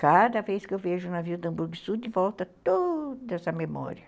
Cada vez que eu vejo o navio do Hamburgo do Sul, de volta toda essa memória.